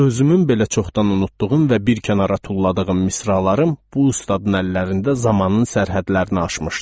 Özümün belə çoxdan unutduğum və bir kənara tulladığım misralarım bu ustadın əllərində zamanın sərhədlərini aşmışdı.